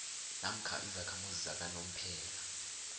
namkha izakhamuzi zakanomphela